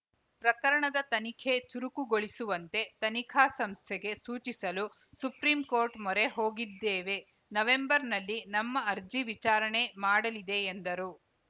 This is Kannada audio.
ಪ್ರಕರಣದ ತನಿಖೆ ಚುರುಕುಗೊಳಿಸುವಂತೆ ತನಿಖಾ ಸಂಸ್ಥೆಗೆ ಸೂಚಿಸಲು ಸುಪ್ರೀಂ ಕೋರ್ಟ್‌ ಮೊರೆ ಹೋಗಿದ್ದೇವೆ ನವೆಂಬರ್‌ನಲ್ಲಿ ನಮ್ಮ ಅರ್ಜಿ ವಿಚಾರಣೆ ಮಾಡಲಿದೆ ಎಂದರು